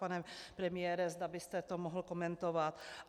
Pane premiére, zda byste to mohl komentovat.